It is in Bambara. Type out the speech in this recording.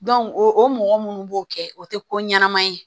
o mɔgɔ munnu b'o kɛ o tɛ ko ɲanama ye